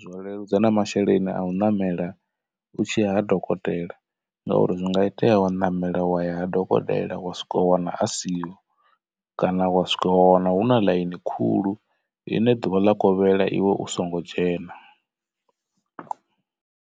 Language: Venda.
zwa leludza na masheleni a u ṋamela u tshiya ha dokotela ngauri zwi nga itea wo ṋamela wa ya ha dokotela wa swika wa wana a siho kana wa swika wa wana hu na ḽaini khulu ine ḓuvha ḽa kovhela iwe u songo dzhena.